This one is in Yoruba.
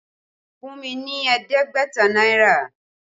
Fún mi ní ẹ̀ẹ́dẹ́gbẹ̀ta náírà!